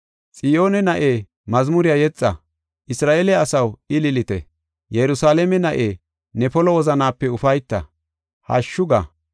Xiyoone na7e, mazmuriya yexa! Isra7eele asaw, ililite! Yerusalaame na7e, ne polo wozanaape ufayta; hashshu ga!